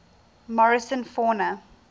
morrison fauna